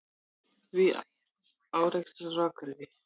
Þrír árekstrar á Akureyri